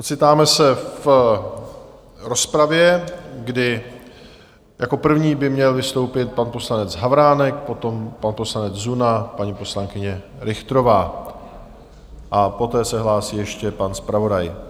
Ocitáme se v rozpravě, kdy jako první by měl vystoupit pan poslanec Havránek, potom pan poslanec Zuna, paní poslankyně Richterová a poté se hlásí ještě pan zpravodaj.